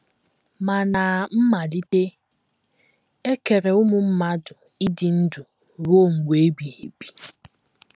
Ma, ná mmalite, e kere ụmụ mmadụ ịdị ndụ ruo mgbe ebighị ebi.